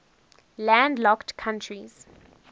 landlocked countries